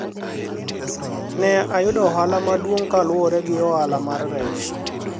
ne oyudo ohala maduong' kaluwore gi ohala mar rech